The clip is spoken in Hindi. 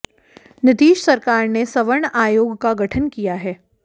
नीतीश सरकार ने सवर्ण आयोग का गठन किया है